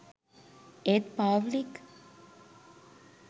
ඒත් පාව්ලික්